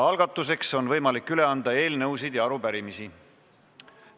Algatuseks on võimalik üle anda eelnõusid ja arupärimisi.